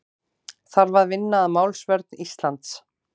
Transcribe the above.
Þarf að vinna að málsvörn Íslands